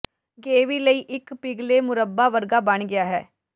ਗੇਵੀ ਲਈ ਇੱਕ ਪਿਘਲੇ ਮੁਰੱਬਾ ਵਰਗਾ ਬਣ ਗਿਆ ਹੈ